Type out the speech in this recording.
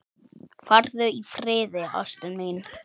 Farðu í friði, ástin mín.